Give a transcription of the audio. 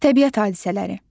Təbiət hadisələri.